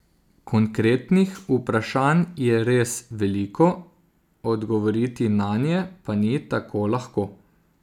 Konkretnih vprašanj je res veliko, odgovoriti nanje pa ni tako lahko.